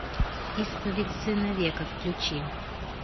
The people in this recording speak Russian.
исповедь сына века включи